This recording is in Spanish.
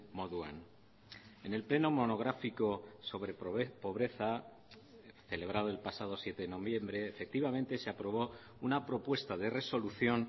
moduan en el pleno monográfico sobre pobreza celebrado el pasado siete de noviembre efectivamente se aprobó una propuesta de resolución